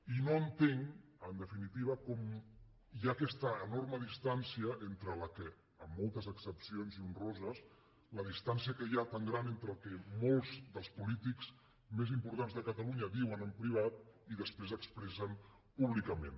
i no entenc en definitiva com hi ha aquesta enorme distància entre la qual amb moltes excepcions i honroses la distància que hi ha tan gran entre el que molts dels polítics més importants de catalunya diuen en privat i després expressen públicament